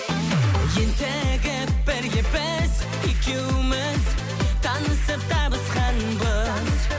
ентігіп бірге біз екеуміз танысып табысқанбыз